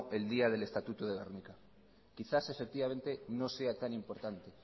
el día del estatuto de gernika quizás efectivamente no sea tan importante